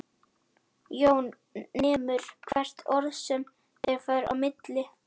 Jón nemur hvert orð sem þeim fer á milli.